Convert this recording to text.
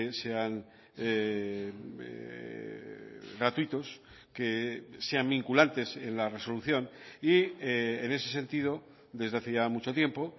sean gratuitos que sean vinculantes en la resolución y en ese sentido desde hace ya mucho tiempo